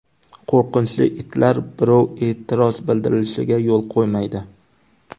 Qo‘rqinchli itlar birov e’tiroz bildirishiga yo‘l qo‘ymaydi.